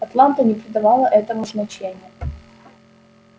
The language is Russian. атланта не придавала этому значения